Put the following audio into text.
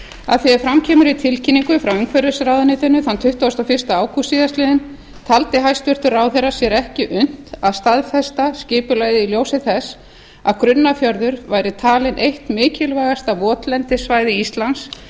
að því er fram kemur í tilkynningu frá umhverfisráðuneytinu þann tuttugasta og fyrsta ágúst síðastliðinn taldi hæstvirtur ráðherra sér ekki unnt að staðfesta skipulagið í ljósi þess að grunnafjörður væri talinn eitt mikilvægasta votlendissvæði íslands